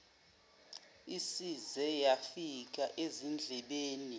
isize yafika ezindlebeni